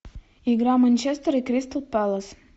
игра манчестер и кристал пэлас